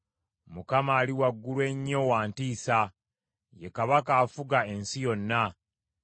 Mukama Ali Waggulu Ennyo wa ntiisa. Ye Kabaka afuga ensi yonna.